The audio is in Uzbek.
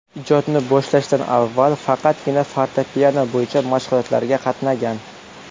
Ijodni boshlashdan avval faqatgina fortepiano bo‘yicha mashg‘ulotlarga qatnagan.